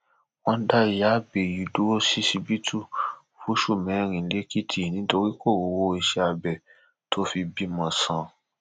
wọn dá ìyáábẹyí dúró ṣíṣíbítù fóṣù mẹrin lẹkìtì nítorí kò rówó iṣẹ-abẹ tó fi bímọ sàn